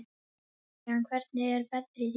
Adrian, hvernig er veðrið í dag?